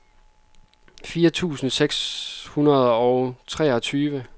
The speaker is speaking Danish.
fire tusind seks hundrede og treogtyve